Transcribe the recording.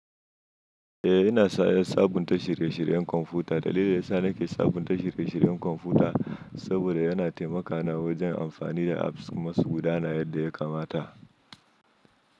Eh, ina sa 'yan sabunta shirye-shiryen kwamfuta. Dalilin da ya sa nake sabunta shirye-shiryen kwamfuta saboda yana taimaka na wajen amfani da apps masu gudana yadda ya kamata.